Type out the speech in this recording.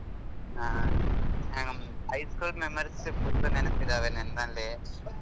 ಹಾ hmm high school memories full ನೆನ್ಪಿದಾವೆ ನನ್ನಲ್ಲಿ.